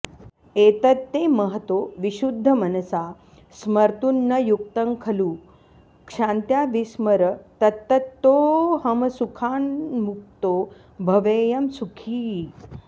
एतत्ते महतो विशुद्धमनसा स्मर्तुं न युक्तं खलु क्षान्त्या विस्मर तत्ततोऽहमसुखान्मुक्तो भवेयं सुखी